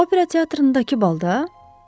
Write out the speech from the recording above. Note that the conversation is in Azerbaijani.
Opera teatrındakı balda?